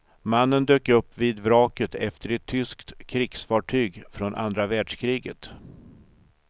Mannen dök vid vraket efter ett tyskt krigsfartyg från andra världskriget.